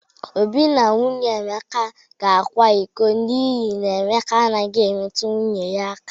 Obi na nwunye Emeka ga-akwa iko n'ihi na Emeka anaghị emetu nwunye ya aka.